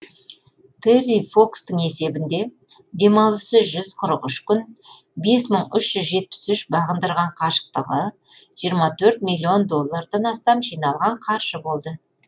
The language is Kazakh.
терри фокстың есебінде демалыссыз жүз қырық үш күн бес мың үш жүз жетпіс үш бағындырған қашықтығы жиырма төрт миллион доллардан астам жиналған қаржы болды